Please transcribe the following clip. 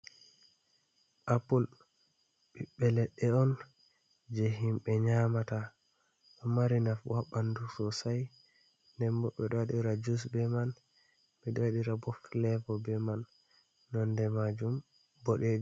Apul, ɓiɓbe ledɗe on je himɓe nyamata, ɗo mari nafu ha ɓandu sosai, nden bo ɓeɗo waɗira jus be man, ɓeɗo waɗira bo fulebo be man nonde majum boɗe..